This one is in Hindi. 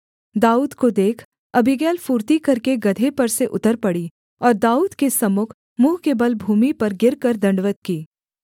दाऊद को देख अबीगैल फुर्ती करके गदहे पर से उतर पड़ी और दाऊद के सम्मुख मुँह के बल भूमि पर गिरकर दण्डवत् की